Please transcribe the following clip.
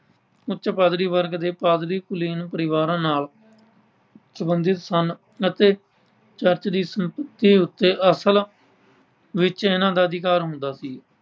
ਉੱਚ ਪਾਦਰੀ ਵਰਗ ਦੇ ਪਾਦਰੀ ਕੁਲੀਨ ਪਰਿਵਾਰਾਂ ਨਾਲ ਸਬੰਧਿਤ ਸਨ ਅਤੇ ਚਰਚ ਦੀ ਸੰਪੱਤੀ ਉੱਤੇ ਅਸਲ ਵਿੱਚ ਇਹਨਾਂ ਦਾ ਅਧਿਕਾਰ ਹੁੰਦਾ ਸੀ।